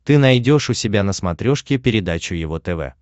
ты найдешь у себя на смотрешке передачу его тв